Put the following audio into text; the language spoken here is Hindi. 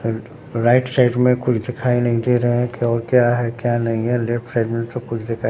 फील्ड राइट साइड में कुछ दिखाई नहीं दे रहे है कि और क्या है क्या नहीं है लेफ्ट साइड में सब कुछ दिखाई --